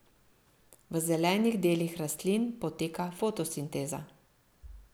V zelenih delih rastlin poteka fotosinteza.